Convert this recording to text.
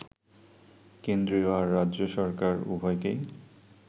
কেন্দ্রীয় আর রাজ্য সরকার, উভয়কেই